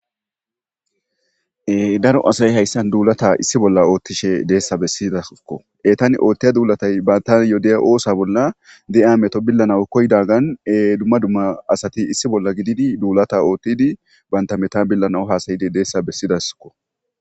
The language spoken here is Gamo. Daro asay hayssan duulata issi bolla oothtishe deessa bessidakko .Etan oothtiya duulatay bantan diya oosa bolla diya meto billanaw koyogadan dumma dumma asati issi bolla gididi duulata oottidi banta metan billanaw haasayide deessa bessidasko.